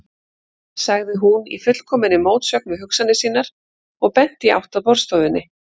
sagði hún, í fullkominni mótsögn við hugsanir sínar og benti í átt að borðstofunni.